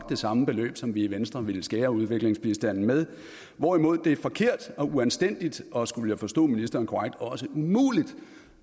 det samme beløb som vi i venstre ville skære udviklingsbistanden med hvorimod det er forkert og uanstændigt og skulle jeg forstå ministeren korrekt også umuligt